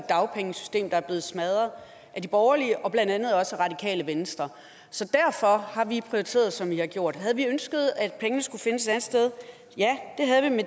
dagpengesystem der er blevet smadret af de borgerlige og blandt andet også radikale venstre så derfor har vi prioriteret som vi har gjort havde vi ønsket at pengene skulle findes et andet sted ja